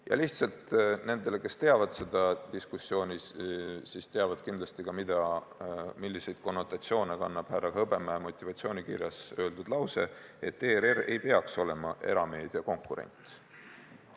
Ja lihtsalt nendele, kes seda diskussiooni teavad – nad teavad kindlasti ka seda, milliseid konnotatsioone kannab härra Hõbemäe motivatsioonikirjas öeldud lause, et ERR ei peaks olema erameedia konkurent.